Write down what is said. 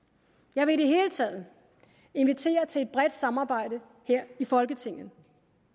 jeg vil i det hele taget invitere til et bredt samarbejde her i folketinget